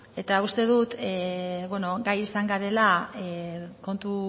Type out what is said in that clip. eta uste dut beno gai izan garela kontu